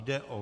Jde o